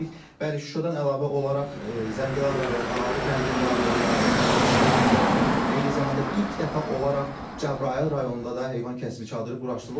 Bəli, Şuşadan əlavə olaraq Zəngilan rayonu Ağalı kəndində, Ağdam rayonunun Talış kəndində, eyni zamanda ilk dəfə olaraq Cəbrayıl rayonunda da heyvan kəsimi çadırı quraşdırılıb.